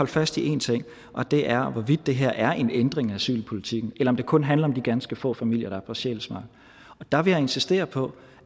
fast i én ting og det er hvorvidt det her er en ændring af asylpolitikken eller om det kun handler om de ganske få familier der er på sjælsmark der vil jeg insistere på